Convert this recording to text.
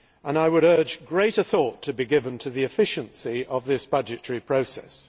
I would urge greater thought to be given to the efficiency of this budgetary process.